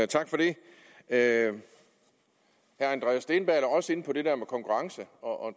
tak for det herre andreas steenberg er også inde på det der med konkurrence og